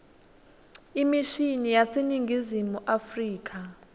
imishini yaseningizimu afrika